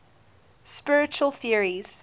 spiritual theories